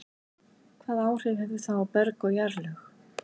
Hvaða áhrif hefur það á berg og jarðlög?